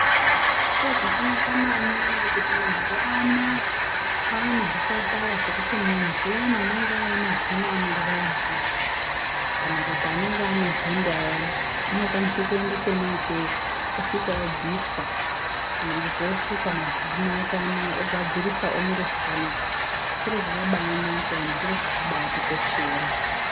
Zviro zvakanaka maningi kuti mazuwa anaya kwaane zvipatara zvekuti muntu uyana unenge ane mazinoanorwadza kana kuti anenge ane honda ayana unokwanise kuende kwona ikweyo osvika obviswa kana kuti osukwa mazino ake anaya ogadziriswa omire zvakanaka chiro chakabaanaka ende chiro chakabatikoshera.